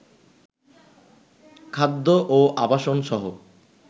খাদ্য ও আবাসনসহ